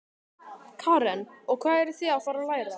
Karen: Og hvað eruð þið að fara að læra?